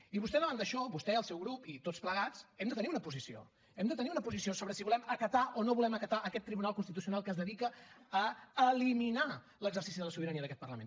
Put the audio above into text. i vostè davant d’això vostè el seu grup i tots plegats hem de tenir una posició hem de tenir una posició sobre si volem acatar o no volem acatar aquest tribunal constitucional que es dedica a eliminar l’exercici de la sobirania d’aquest parlament